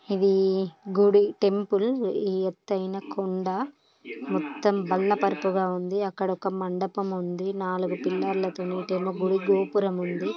ఇదీ గుడి టెంపుల్ ఎత్తైన కొండ మొత్తం బరక బరకగా ఉంది అక్కడ ఒక మండపం ఉంది నాలుగు పిల్లర్లతోని ఇటేమో గుడి గోపురం ఉంది.